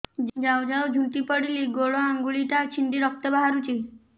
ଯାଉ ଯାଉ ଝୁଣ୍ଟି ପଡ଼ିଲି ଗୋଡ଼ ଆଂଗୁଳିଟା ଛିଣ୍ଡି ରକ୍ତ ବାହାରୁଚି